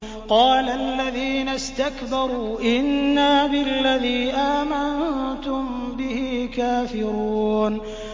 قَالَ الَّذِينَ اسْتَكْبَرُوا إِنَّا بِالَّذِي آمَنتُم بِهِ كَافِرُونَ